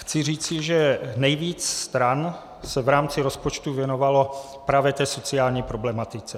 Chci říct, že nejvíc stran se v rámci rozpočtu věnovalo právě té sociální problematice.